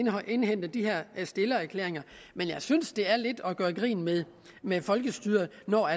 at indhente de her stillererklæringer men jeg synes det er lidt at gøre grin med med folkestyret når